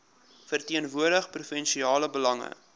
verteenwoordig provinsiale belange